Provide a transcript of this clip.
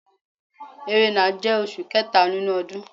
Ẹrẹ́nà jẹ́ oṣù kẹta nínú ọdún.